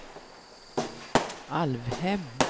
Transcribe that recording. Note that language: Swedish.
Alvhem